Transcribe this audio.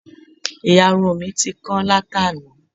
Ìyarun mi ti kán látàná